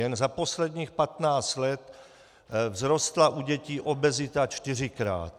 Jen za posledních 15 let vzrostla u dětí obezita čtyřikrát.